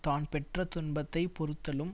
தான் பெற்ற துன்பத்தை பொறுத்தலும்